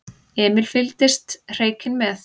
Emil fylgdist hreykinn með.